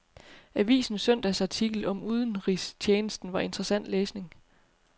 Avisens søndagsartikel om udenrigstjenesten var interessant læsning.